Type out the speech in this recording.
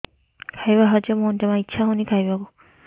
ଖାଇବା ହଜମ ହଉନି ଜମା ଇଛା ହଉନି ଖାଇବାକୁ